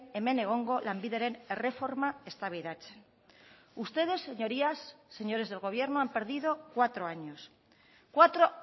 hemen egongo lanbideren erreforma eztabaidatzen ustedes señorías señores del gobierno han perdido cuatro años cuatro